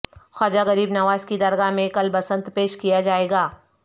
خواجہ غریب نواز کی درگاہ میں کل بسنت پیش کیا جائے گا